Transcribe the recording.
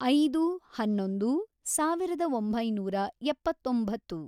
ಐದು, ಹನ್ನೊಂದು, ಸಾವಿರದ ಒಂಬೈನೂರ ಎಪ್ಪತ್ತೊಂಬತ್ತು